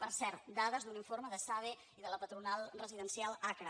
per cert dades d’un informe d’esade i de la patronal residencial acra